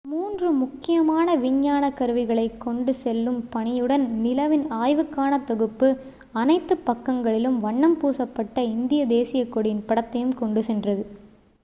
மூன்று முக்கியமான விஞ்ஞான கருவிகளைக் கொண்டு செல்லும் பணியுடன் நிலவின் ஆய்வுக்கான தொகுப்பு அனைத்து பக்கங்களிலும் வண்ணம் பூசப்பட்ட இந்தியத் தேசியக் கொடியின் படத்தையும் கொண்டுசென்றது